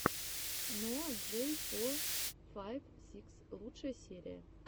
ноа джей фор файв сикс лучшая серия